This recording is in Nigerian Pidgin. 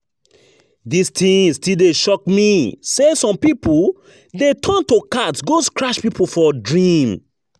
Dis thing still dey shock me, say some people dey turn to cat go scratch people for dream